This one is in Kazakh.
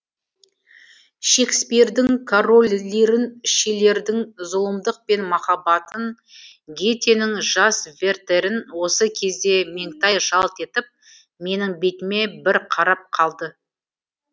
шекспирдің король лирін шиллердің зұлымдық пен махаббатын гетенің жас вертерін осы кезде меңтай жалт етіп менің бетіме бір қарап қалды